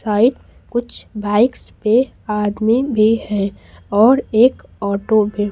side कुछ bikes पे आदमी भी हैऔर एक ऑटो भी--